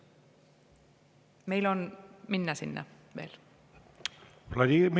Meil on veel minna.